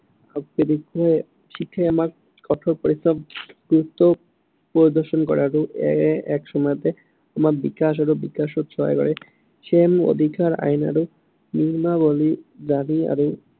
শিক্ষাই আমাক কঠোৰ পৰিশ্ৰম গুৰুত্ব প্ৰদৰ্শন কৰে আৰু এক সময়তে আমাৰ বিকাশ আৰু বিকাশত সহায় কৰে। অধিকাৰ, আইন আৰু নিয়মাৱলী, দাবী আৰু